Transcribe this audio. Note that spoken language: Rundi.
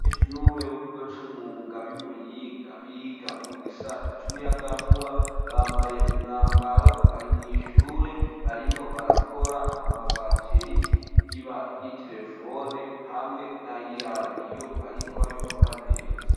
Abanyeshuri bo kukigo c'umwuga b'imuyinga biga mu gisata cumuyaga nkuba, bambaye umwambaro bari mwishure barimwo barakora amabateri y'iterefone, hamwe na y'iradiyo ariko babikora neza.